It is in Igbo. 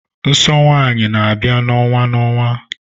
Nsọ nwanyị n'abia na-onwa na-onwa.